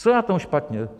Co je na tom špatně?